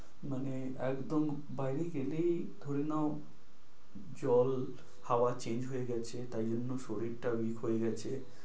মানে একদম বাইরে গেলেই ধরে নাও জল, হাওয়া change হয়ে গেছে তাই জন্য শরীর টা week হয়ে গেছে।